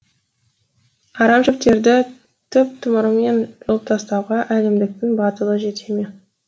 арамшөптерді түп тамырымен жұлып тастауға әлімдіктің батылы жете ме